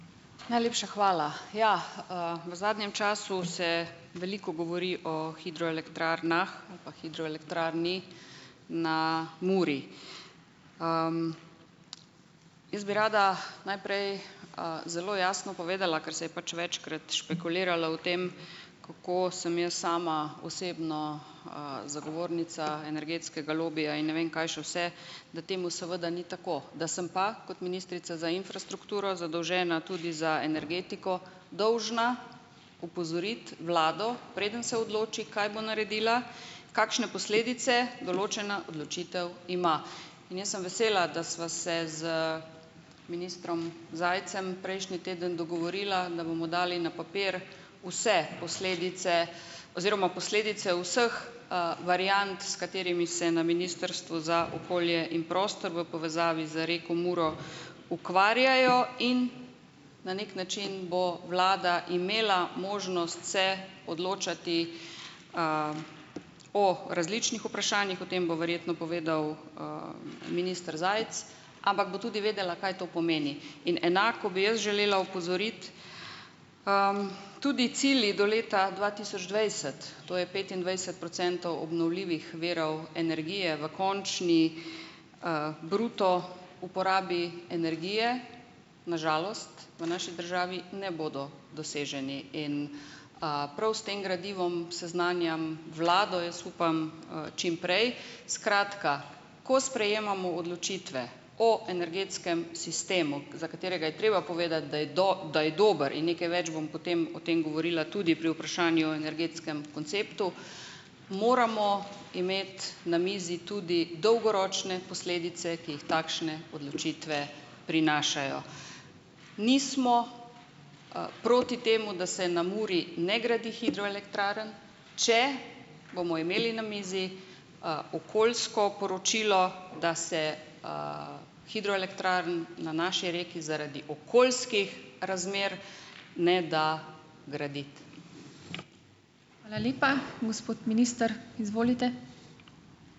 Najlepša hvala. Ja, V zadnjem času se veliko govori o hidroelektrarnah ali pa hidroelektrarni na Muri. Jaz bi rada najprej, zelo jasno povedala, ker se je pač večkrat špekuliralo o tem, kako sem jaz sama osebno, zagovornica energetskega lobija in ne vem kaj še vse, da temu seveda ni tako. Da sem pa kot ministrica za infrastrukturo, zadolžena tudi za energetiko, dolžna opozoriti vlado, preden se odloči, kaj bo naredila, kakšne posledice določena odločitev ima. In jaz sem vesela, da sva se z ministrom Zajcem prejšnji teden dogovorila, da bomo dali na papir vse posledice oziroma posledice vseh, variant, s katerimi se na Ministrstvu za okolje in prostor v povezavi z reko Muro ukvarjajo, in na neki način bo vlada imela možnost se odločati o različnih vprašanjih. O tem bo verjetno povedal, minister Zajc, ampak bo tudi vedela, kaj to pomeni. In enako bi jaz želela opozoriti, tudi cilji do leta dva tisoč dvajset, to je petindvajset procentov obnovljivih virov energije v končni, bruto uporabi energije, na žalost, v naši državi ne bodo doseženi. In, pravi s tem gradivom seznanjam vlado. Jaz upam, čim prej. Skratka, ko sprejemamo odločitve o energetskem sistemu, za katerega je treba povedati, da je dober, in nekaj več bom potem o tem govorila tudi pri vprašanju o energetskem konceptu, moramo imeti na mizi tudi dolgoročne posledice, ki jih takšne odločitve prinašajo. Nismo, proti temu, da se na Muri ne gradi hidroelektrarn, če bomo imeli na mizi, okoljsko poročilo, da se, hidroelektrarn na naši reki zaradi okoljskih razmer ne da graditi.